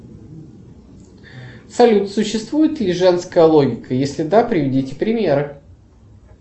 салют существует ли женская логика если да приведите примеры